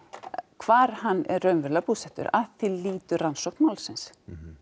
hvar hann er raunverulega búsettur að því lýtur rannsókn málsins